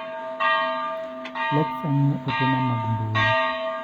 Lexa ng'iyo ote na mag mbui.